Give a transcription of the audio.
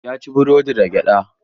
Ya ci burodin da gyada.